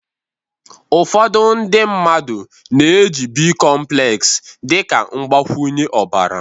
ụfọdụ ndị mmadụ na-eji bicomplex dị ka mgbakwunye ọbara